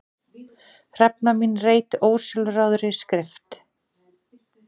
Hrefna mín reit ósjálfráðri skrift.